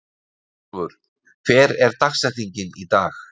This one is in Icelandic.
Hrólfur, hver er dagsetningin í dag?